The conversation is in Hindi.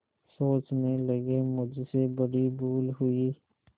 सोचने लगेमुझसे बड़ी भूल हुई